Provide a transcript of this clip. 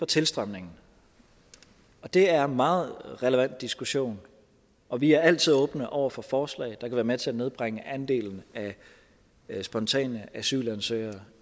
tilstrømningen det er en meget relevant diskussion og vi er altid åbne over for forslag der kan være med til at nedbringe andelen af spontane asylansøgere